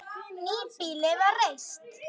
Nýbýli var reist.